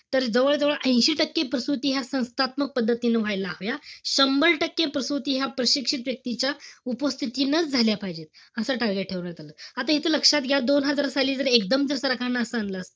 तर जवळजवळ ऐशी टक्के, प्रसुती ह्या संस्थात्मक पदहतीने व्हायला हव्या. शंभर टक्के प्रसूती ह्या प्रशिक्षित व्यक्तीच्या उपस्थितीनेच झाल्या पाहिजे. असं target ठरवण्यात आलं. आता इथे लक्षात घ्या. दोन हजार साली जर एकदम ते सरकारनं असं आणलं असत,